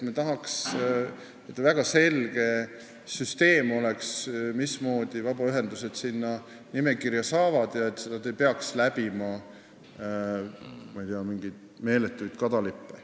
Me tahaks, et see süsteem oleks väga selge, mismoodi vabaühendused sinna nimekirja saavad, ja et nad ei peaks läbima mingeid meeletuid kadalippe.